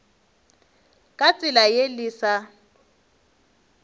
ka tsela ye le sa